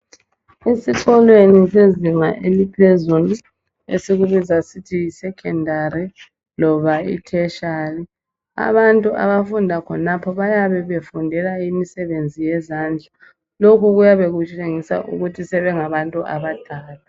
Esikolweni sezinga eliphezulu esikubiza sithi yisecondary loba iTertiary, abantu abafunda khonapho bayabe befundela imsebenzi yezandla. Lokhu kuyabe kutshengisa ukuthi sebengabantu abadala.